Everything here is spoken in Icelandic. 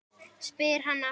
spyr hann aftur.